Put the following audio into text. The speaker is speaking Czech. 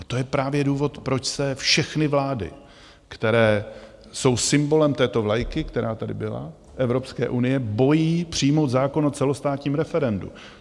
A to je právě důvod, proč se všechny vlády, které jsou symbolem této vlajky, která tady byla - Evropské unie - bojí přijmout zákon o celostátním referendu.